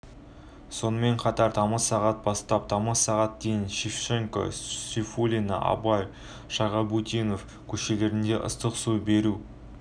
сонымен қатар тамыз сағат бастап тамыз сағат дейін шевченко сейфуллин абай шағабутдинов көшелерінде ыстық су беру